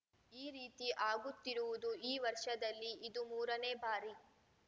ಈ ರೀತಿ ಆಗುತ್ತಿರುವುದು ಈ ವರ್ಷದಲ್ಲಿ ಇದು ಮೂರನೇ ಬಾರಿ